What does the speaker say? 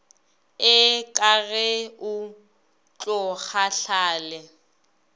ee ka ge o tlokgahlale